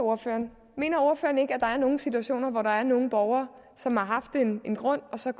ordføreren mener ordføreren ikke at der er nogle situationer hvor der er nogle borgere som har haft en grund og så